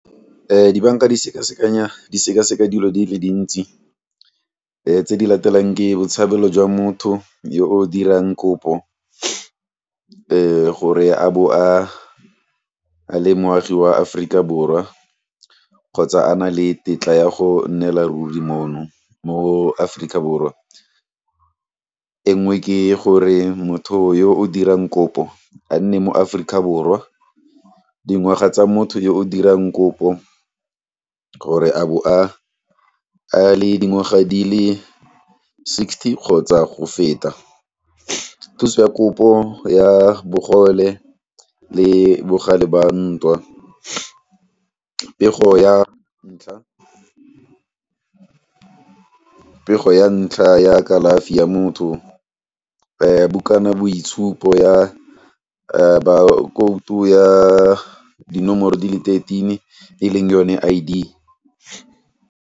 Dibanka di sekasekanya, di sekaseka dilo di le dintsi tse di latelang ke botshabelo jwa motho yo o dirang kopo gore a bo a le moagi wa Aforika Borwa kgotsa a na le tetla ya go nnela ruri mo Aforika Borwa, e nngwe ke gore motho yo o dirang kopo a nne mo Aforika Borwa. Dingwaga tsa motho yo o dirang kopo gore a bo a le dingwaga di le sixty kgotsa go feta. Thuso ya kopo ya bogole le bogale ba ntwa, pego ya ntlha ya kalafi ya mo mothong, bukana boitshupo ya bakoutu ya dinomoro di le thirteen e leng yone I_D.